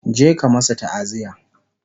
je ka masu ta'aziya!